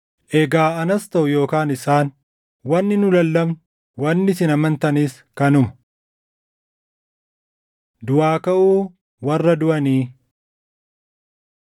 Egaa anas taʼu yookaan isaan, wanni nu lallabnu, wanni isin amantanis kanuma. Duʼaa Kaʼuu Warra Duʼanii